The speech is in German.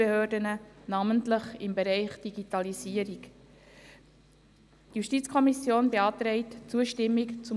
Ich danke dem Vorsitzenden der Justizleitung für seine Anwesenheit und wünsche eine gute Festzeit und alles Gute.